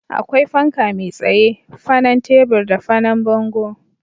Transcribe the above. Akwai fanka mai tsaye, fanan tebur da fanan bango